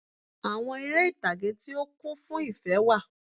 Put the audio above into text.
Àwon eré ìtàge tí ó kún fún ìfé wà